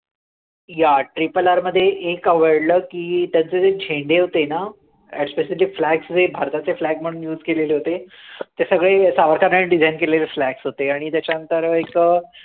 yeah triple R मध्ये एक आवडलं की त्याचे जे छेने होते ना as specific flats ते भारताचे flats म्हणून use केलेले होते, ते सगळे ने design केलेले flats होते आणि त्याच्यानंतर एक अं